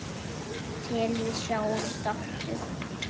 Þangað til við sjáumst aftur.